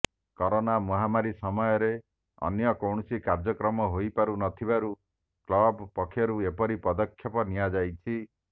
corona ମହାମାରୀ ସମୟରେ ଅନ୍ୟ କୌଣସି କାର୍ଯ୍ୟକ୍ରମ ହୋଇପାରୁ ନଥିବାରୁ କ୍ଲବ ପକ୍ଷରୁ ଏପରି ପଦକ୍ଷେପ ନିଆଯାଇଛି